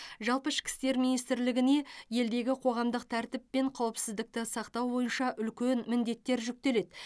жалпы ішкі істер министрлігіне елдегі қоғамдық тәртіп пен қауіпсіздікті сақтау бойынша үлкен міндеттер жүктеледі